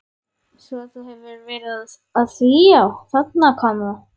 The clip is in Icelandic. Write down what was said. Svo þú hefur verið að því já, þarna kom það.